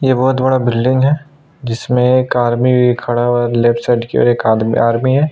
यह बहुत बड़ा बिल्डिंग है जिसमें एक आर्मी भी खड़ा हुआ लेफ्ट साइड एक आदमी आर्मी है।